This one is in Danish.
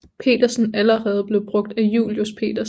Petersen allerede blev brugt af Julius Petersen